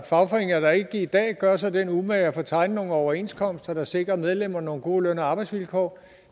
fagforeninger der ikke i dag gør sig den umage at få tegnet nogle overenskomster der sikrer medlemmerne nogle gode løn og arbejdsvilkår